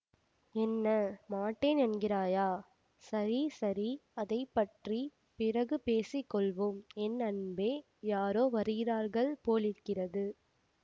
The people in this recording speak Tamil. என்ன மாட்டேன் என்கிறாயா சரி சரி அதை பற்றி பிறகு பேசி கொள்வோம் என் அன்பே யாரோ வருகிறார்கள் போலிருக்கிறது